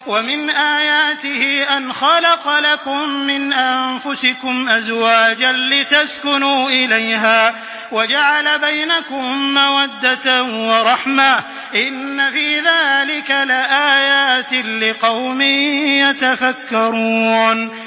وَمِنْ آيَاتِهِ أَنْ خَلَقَ لَكُم مِّنْ أَنفُسِكُمْ أَزْوَاجًا لِّتَسْكُنُوا إِلَيْهَا وَجَعَلَ بَيْنَكُم مَّوَدَّةً وَرَحْمَةً ۚ إِنَّ فِي ذَٰلِكَ لَآيَاتٍ لِّقَوْمٍ يَتَفَكَّرُونَ